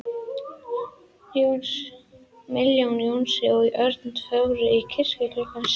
Milla, Jónsi og Örn fóru í kirkju klukkan sex.